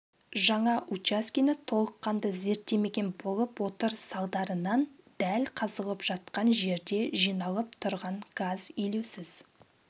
жаңа учаскені толыққанды зерттемеген болып отыр салдарынан дәл қазылып жатқан жерде жиналып тұрған газ елеусіз